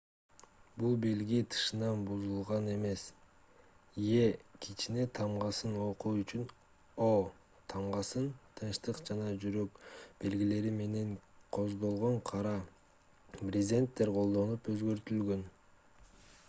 бул белги тышынан бузулган эмес е кичине тамгасын окуу үчүн о тамгасы тынчтык жана жүрөк белгилери менен кооздолгон кара брезенттер колдонулуп өзгөртүлгөн